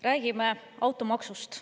Räägime automaksust.